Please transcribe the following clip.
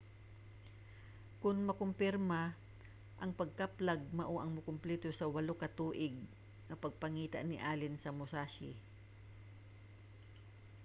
kon makumpirma ang pagkaplag mao ang mukompleto sa walo ka tuig nga pagpangita ni allen sa musashi